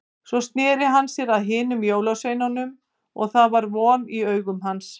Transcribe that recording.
Svo sneri hann sér að hinum jólasveinunum og það var von í augum hans.